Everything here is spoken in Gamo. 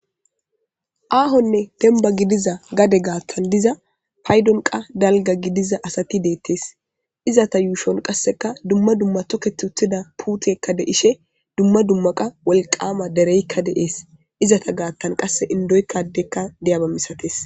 Ahone demba gidiza gade gaththan paydonkka dalga asati detes izeta yushonkka dumma dumma toketi utida puteykka de'she dumma dumma wolqama dereykka de'es izeta gathankka adeykka indoyikka dizaba masates